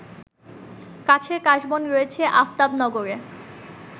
কাছের কাশবন রয়েছে আফতাবনগরে